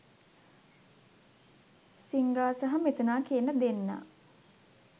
සින්ඝා සහ මිතුනා කියන දෙන්නා.